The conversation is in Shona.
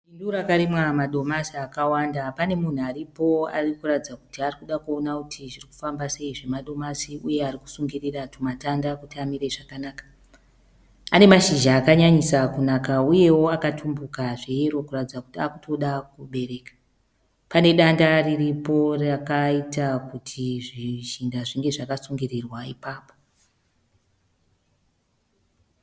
Bindu rakarimwa madomasi akawanda. Pane munhu aripo ari kuratidza kuti ari kuda kuona kuiti zviri kufamba sei zvemadomasi uye ari kusungirira tumatanda kuti amire zvakanaka. Ane mashizha akanyanyisa kunaka uyewo akatumbuka zveyero kuratidza kuti akutoda kubereka. Pane danda riripo rakaita kuti zvishinda zvinge zvakasungirirwa ipapo.